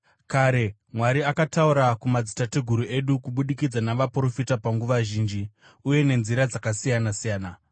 Kare, Mwari akataura kumadzitateguru edu kubudikidza navaprofita panguva zhinji, uye nenzira dzakasiyana-siyana,